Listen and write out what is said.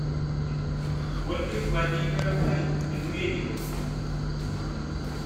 ольгой владимировной медведевой